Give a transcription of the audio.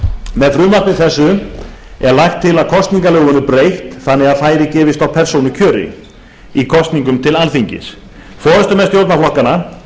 með frumvarpi þessu er lagt til að kosningalögum verði breytt þannig að færi gefist á persónukjöri í kosningum til alþingis forustumenn stjórnarflokkanna